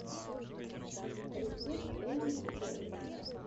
рецепт элли ди пэтс